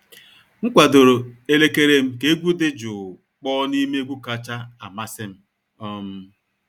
M kwadoro elekere m ka egwu dị jụụ kpọọ n'ime egwu kacha amasị m. um